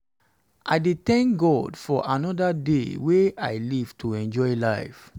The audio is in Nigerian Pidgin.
i dey thank god for anoda day wey i live to enjoy life.